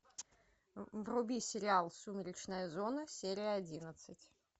вруби сериал сумеречная зона серия одиннадцать